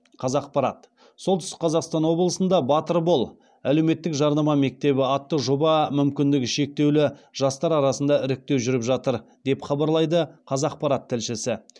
қазақпарат солтүстік қазақстан облысында батыр бол әлеуметтік жарнама мектебі атты жобаға мүмкіндігі шектеулі жастар арасында іріктеу жүріп жатыр деп хабарлайды қазақпарат тілшісі